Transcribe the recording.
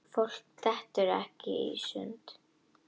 Fólk dettur ekkert í sundur.